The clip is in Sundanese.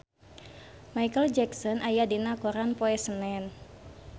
Micheal Jackson aya dina koran poe Senen